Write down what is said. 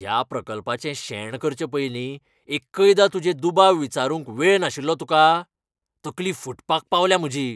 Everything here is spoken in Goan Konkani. ह्या प्रकल्पाचें शेण करचे पयलीं एक्कयदां तुजे दुबाव विचारूंक वेळ नाशिल्लो तुका? तकली फुटपाक पावल्या म्हजी.